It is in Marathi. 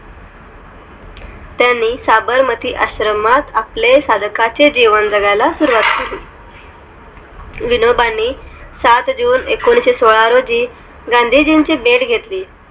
त्यांनी साबरमती आश्रमात आपले साधकाचे जीवन जगायला सुरवात केली विनोबांनी सात june एकोणीशेसोला रोजी गांधीजींची भेट घेतली